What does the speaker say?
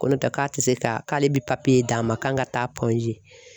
Ko n'o tɛ k'a tɛ se ka k'ale bɛ d'an ma k'an ka taa G.